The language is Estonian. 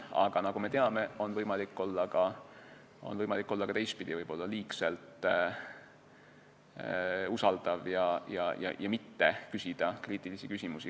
Aga nagu me teame, on võimalik olla ka teistpidi liigselt usaldav ja mitte küsida kriitilisi küsimusi.